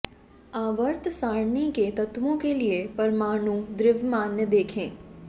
आवर्त सारणी के तत्वों के लिए परमाणु द्रव्यमान देखें